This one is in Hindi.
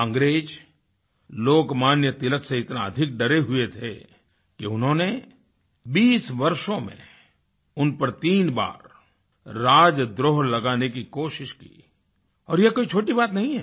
अंग्रेज़ लोकमान्य तिलक से इतना अधिक डरे हुए थे कि उन्होंने 20 वर्षों में उन पर तीन बार राजद्रोह लगाने की कोशिश की और यह कोई छोटी बात नहीं है